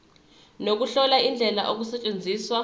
nokuhlola indlela okusetshenzwa